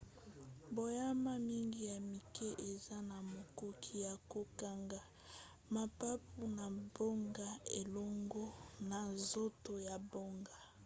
banyama mingi ya mike eza na makoki ya kokanga mapapu na bango elongo na nzoto na bango